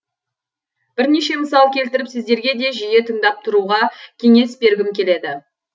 бірнеше мысал келтіріп сіздерге де жиі тыңдап тұруға кеңес бергім келеді